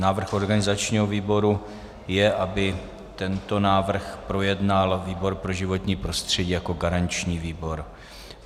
Návrh organizačního výboru je, aby tento návrh projednal výbor pro životní prostředí jako garanční výbor.